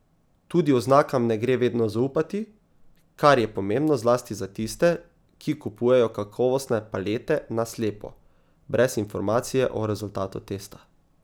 Tudi oznakam ne gre vedno zaupati, kar je pomembno zlasti za tiste, ki kupujejo kakovostne palete na slepo, brez informacije o rezultatu testa.